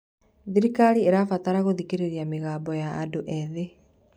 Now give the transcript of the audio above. Thirikari ĩrabatara gũthikĩrĩria mĩgambo ya andũ ethĩ.